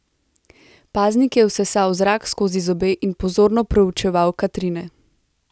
Paznik je vsesal zrak skozi zobe in pozorno proučeval Katrine.